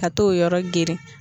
Ka t'o yɔrɔ geren.